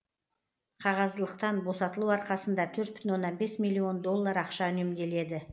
қағаздылықтан босатылу арқасында төрт бүтін оннан бес миллион доллар ақша үнемделеді